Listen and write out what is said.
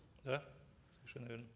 да совершенно верно